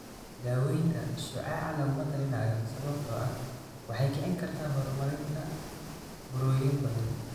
Daaweynta shucaaca laguma talinayo sababtoo ah waxay kicin kartaa horumarinta burooyin badan.